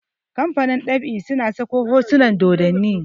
kamfanin ɗab'i suna Sako hotunan dodanni